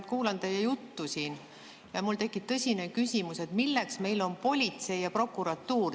Ma kuulan teie juttu siin ja mul tekib tõsine küsimus, et milleks meil on politsei ja prokuratuur.